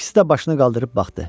İkisi də başını qaldırıb baxdı.